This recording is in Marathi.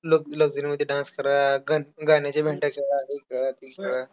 मला त्यांनी सर्व प्र प्रकारचे ज्ञान दिले .शारीरिक आणि मान मानसिक.